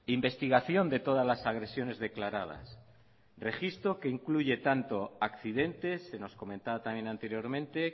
investigación de todas las agresiones declaradas registro que incluye tanto accidentes se nos comentaba también anteriormente